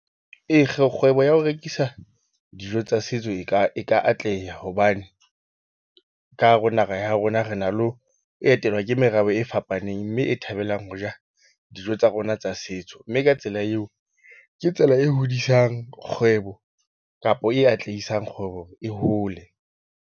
E, kgwebo ya ho rekisa dijo tsa setso e ka atleha hobane ka hara naha ya rona re na le ho etelwa ke merabe e fapaneng. Mme e thabelang ho ja dijo tsa rona tsa setso, mme ka tsela eo ke tsela e hodisang kgwebo kapo e atlehisang kgwebo e hole.